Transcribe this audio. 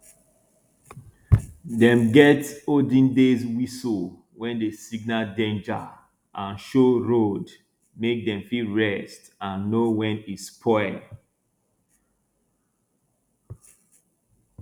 dem get olden days whistles wey dey signal danger and show road make dem fit rest and know when e spoil